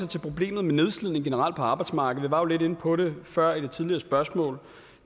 til problemet med nedslidning generelt på arbejdsmarkedet vi var jo lidt inde på det før i det tidligere spørgsmål